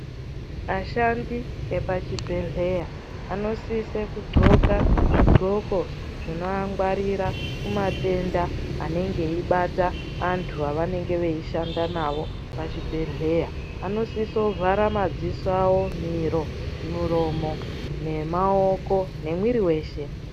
Vashandi vepachibhedheya vanositse kughloka zvighloko zvinoangwarira kumatenda anenge eibata Antu avanenge veishanda navo pachibhedhlera. Vanosise kuvhara madziso avo ,miro ,muromo ,nemaoko memwiri weshe.